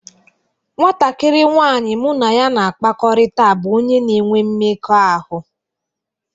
Nwatakịrị nwanyị mụ na ya na-akpakọrịta bụ onye na-enwe mmekọahụ